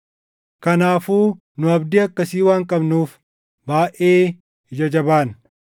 Kanaafuu nu abdii akkasii waan qabnuuf baayʼee ija jabaanna.